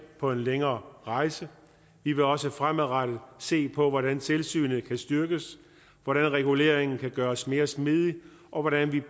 på en længere rejse vi vil også fremadrettet set på hvordan tilsynet kan styrkes hvordan reguleringen kan gøres mere smidig og hvordan vi